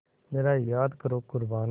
ज़रा याद करो क़ुरबानी